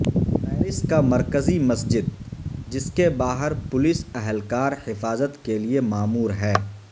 Paris کا مرکزی مسجد جس کے باہر پولیس اہلکار حفاظت کے لیے مامور ہے